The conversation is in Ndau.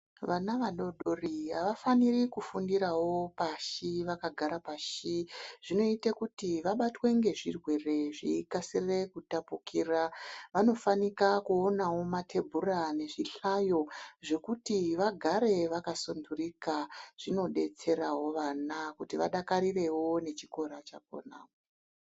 Vana vadoodori, avafaniri kufundirawo pashi, vakagare pashi. Zvinoite kuti vabatwe ngezvirwere, zveikasire kutapukira. Vanofanira kuonawo mathebhura nezvihlayo zvekuti vagare vakasunthurika, zvinodetserawo vana kuti vadakarirewo, nechikora chakhona.